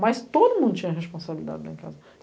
Mas todo mundo tinha responsabilidade lá em casa.